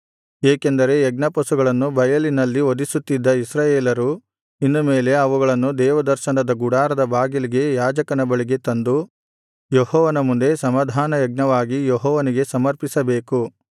ಏಕೆಂದರೆ ಯಜ್ಞಪಶುಗಳನ್ನು ಬಯಲಿನಲ್ಲಿ ವಧಿಸುತ್ತಿದ್ದ ಇಸ್ರಾಯೇಲರು ಇನ್ನು ಮೇಲೆ ಅವುಗಳನ್ನು ದೇವದರ್ಶನದ ಗುಡಾರದ ಬಾಗಿಲಿಗೆ ಯಾಜಕನ ಬಳಿಗೆ ತಂದು ಯೆಹೋವನ ಮುಂದೆ ಸಮಾಧಾನಯಜ್ಞವಾಗಿ ಯೆಹೋವನಿಗೆ ಸಮರ್ಪಿಸಬೇಕು